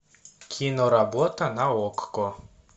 киноработа на окко